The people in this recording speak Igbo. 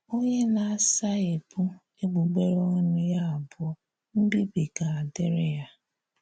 “Onyé na-asaghepụ̀ egbugberè ọnụ ya abụọ, mbibì ga-adịrị ya.”